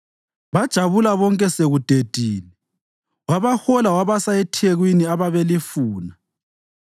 Bajabula bonke sekudedile, wabahola wabasa ethekwini ababelifuna.